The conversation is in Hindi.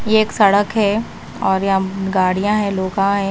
ये एक सड़क है और यहां गाड़ियां है लोखा है।